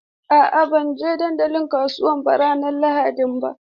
A'a, ba zan je dandalin kasuwa ranar Lahadi ba.